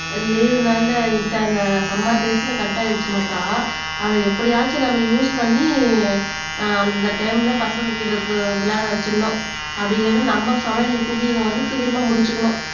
லீவுனால விட்டாங்க சம்மர் டேய்ஸ்ல கட் ஆயிடுச்சுன்னாக்கா அதை எப்படியாச்சும் நம்ம யூஸ் பண்ணி அஹ் அந்தந்த டைம்ல பசங்ககிட்ட விளையாட வச்சிருனும் அப்பிடி இல்லைன்னா நம்ம சமையல்ல குக்கீங்க வந்து சீக்கிரமா முடிச்சுக்கணும்